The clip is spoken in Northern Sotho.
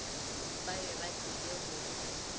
ba be ba tlile go